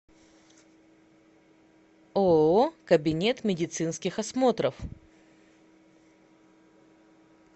ооо кабинет медицинских осмотров